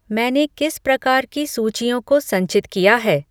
मैंने किस प्रकार की सूचियों को संचित किया है